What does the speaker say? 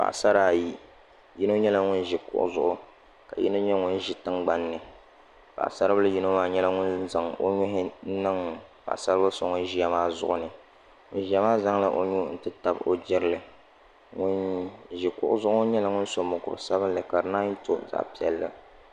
Paɣasara ayi yino nyɛla ŋun ʒi kuɣuzuɣu ka yini nyɛ ŋun ʒi tingbanni paɣ'saribila yino maa nyɛla ŋun zaŋ o nuhi niŋ paɣasaribili so ŋun ʒia maa zuɣu ni ŋun ʒia maa zaŋla nuu titabi o jirli ŋun ʒi kuɣu zuɣu ŋɔ nyɛla ŋun so mokuru sabinli ka di nanyi to zaɣa piɛlli.